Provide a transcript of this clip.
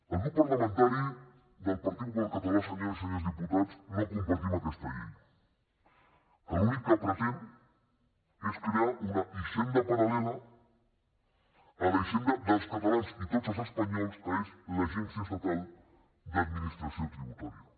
el grup parlamentari del partit popular català senyores i senyors diputats no compartim aquesta llei que l’únic que pretén és crear una hisenda paral·lela a la hisenda dels catalans i de tots els espanyols que és l’agència estatal d’administració tributària